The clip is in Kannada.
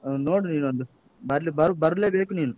ನೋಡು ನೀನೊಂದು. ಬರ್ಲಿ~ ಬರ್ಲೇಬೇಕು ಬೇಕು ನೀನು.